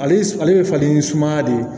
Ale ale bɛ falen sumaya de